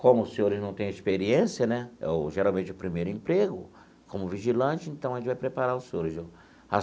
Como os senhores não têm experiência né, é o geralmente é o primeiro emprego, como vigilante, então a gente vai preparar os senhores.